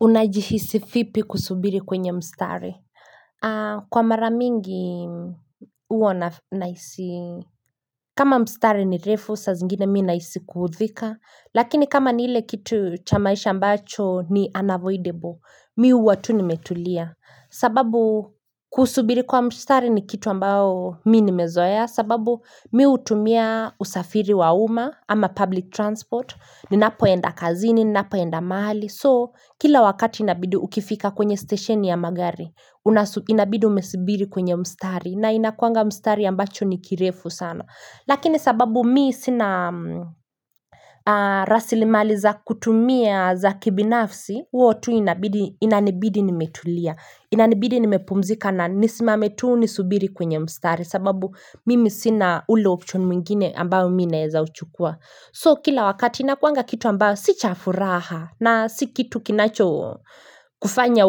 Unajihisi vipi kusubiri kwenye mstari? Kwa mara mingi hua nahisi. Kama mstari ni refu, saa zingine mimi nahisi kuudhika. Lakini kama ni ile kitu cha maisha ambacho ni unavoidable, Mimi hua tu nimetulia. Sababu kusubiri kwa mstari ni kitu ambao mimi nimezoea. Sababu mimi hutumia usafiri wa uma, ama public transport. Ninapoenda kazini, ninapoenda mahali. So kila wakati inabidi ukifika kwenye stesheni ya magari inabidi umesibiri kwenye mstari, na inakuanga mstari ambacho ni kirefu sana. Lakini sababu mimi sina rasilimali za kutumia za kibinafsi hua tu inabidi inanibidi nimetulia. Inanibidi nimepumzika na nisimame tu nisubiri kwenye mstari sababu mimi sina ule option mwingine ambayo mimi naeza uchukua. So kila wakati inakuanga kitu ambayo si cha furaha na si kitu kinacho kufanya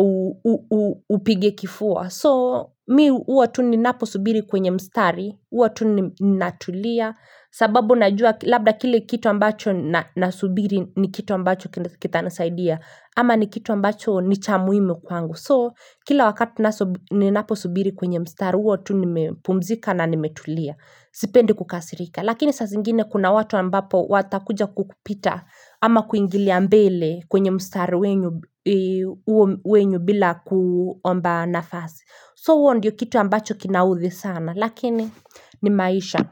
upige kifua. So mimi huwa tu ninaposubiri kwenye mstari huwa tu ninatulia sababu najua labda kile kitu ambacho nasubiri ni kitu ambacho kitanisaidia. Ama ni kitu ambacho ni cha muhimu kwangu. So kila wakati ninaposubiri kwenye mstari, huwa tu nimepumzika na nimetulia. Sipendi kukasirika lakini saa zingine kuna watu ambapo watakuja kukupita. Ama kuingilia mbele kwenye mstari wenu bila kuomba nafasi. So huo ndiyo kitu ambacho kinaudhi sana lakini ni maisha.